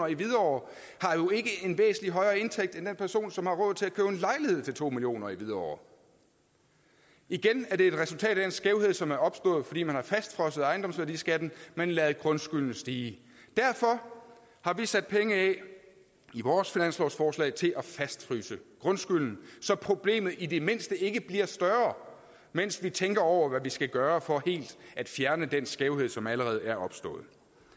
i hvidovre har jo ikke en væsentlig højere indtægt end den person som har råd til at købe en lejlighed til to million kroner i hvidovre igen er det et resultat af den skævhed som er opstået fordi man har fastfrosset ejendomsværdiskatten men ladet grundskylden stige derfor har vi sat penge af i vores finanslovsforslag til at fastfryse grundskylden så problemet i det mindste ikke bliver større mens vi tænker over hvad vi skal gøre for helt at fjerne den skævhed som allerede er opstået